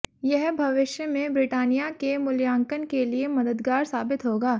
यह भविष्य में ब्रिटानिया के मूल्यांकन के लिए मददगार साबित होगा